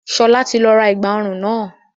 Sọlá tí ra ẹ̀gbà ọrùn náà